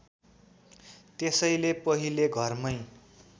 त्यसैले पहिले घरमै